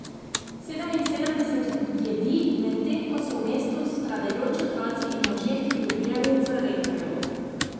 Sedeminsedemdeset jedi, medtem ko so v mestu stradajoči otroci in možje, ki bi ubijali za redkev.